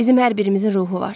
Bizim hər birimizin ruhu var.